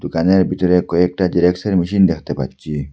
বিতরে কয়েকটা জেরক্সের মেশিন দেখতে পাচ্ছি।